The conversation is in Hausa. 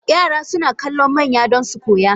Yara suna kallon manya don su koya.